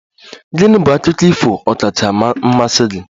Gịnị bụ akụkọ ifo Ọkacha mmasị gi?